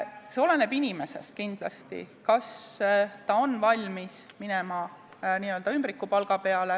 See oleneb kindlasti inimesest, kas ta on valmis minema n-ö ümbrikupalga peale.